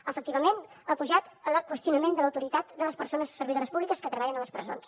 efectivament ha pujat el qüestionament de l’autoritat de les persones servidores públiques que treballen a les presons